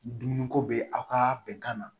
Dumuni ko bɛ aw ka bɛnkan na